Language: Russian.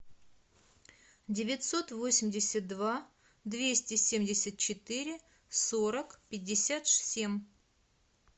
девятьсот восемьдесят два двести семьдесят четыре сорок пятьдесят семь